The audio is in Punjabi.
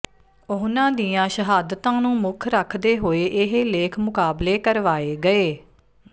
ਉਨ੍ਹਾਂ ਦੀਆਂ ਸ਼ਹਾਦਤਾਂ ਨੂੰ ਮੁੱਖ ਰੱਖਦੇ ਹੋਏ ਇਹ ਲੇਖ ਮੁਕਾਬਲੇ ਕਰਵਾਏ ਗਏ